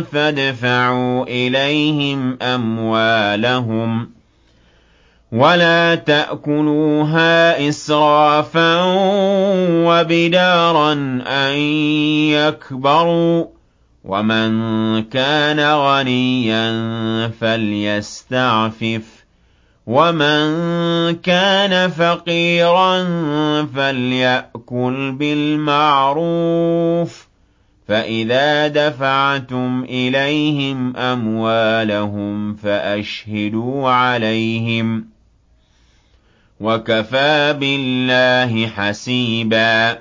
فَادْفَعُوا إِلَيْهِمْ أَمْوَالَهُمْ ۖ وَلَا تَأْكُلُوهَا إِسْرَافًا وَبِدَارًا أَن يَكْبَرُوا ۚ وَمَن كَانَ غَنِيًّا فَلْيَسْتَعْفِفْ ۖ وَمَن كَانَ فَقِيرًا فَلْيَأْكُلْ بِالْمَعْرُوفِ ۚ فَإِذَا دَفَعْتُمْ إِلَيْهِمْ أَمْوَالَهُمْ فَأَشْهِدُوا عَلَيْهِمْ ۚ وَكَفَىٰ بِاللَّهِ حَسِيبًا